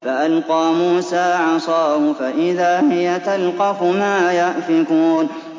فَأَلْقَىٰ مُوسَىٰ عَصَاهُ فَإِذَا هِيَ تَلْقَفُ مَا يَأْفِكُونَ